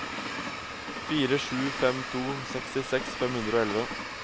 fire sju fem to sekstiseks fem hundre og elleve